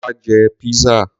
Wá jẹ Pizza.